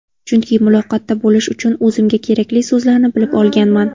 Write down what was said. Chunki muloqotda bo‘lish uchun o‘zimga kerakli so‘zlarni bilib olganman.